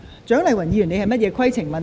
蔣麗芸議員，你有甚麼規程問題？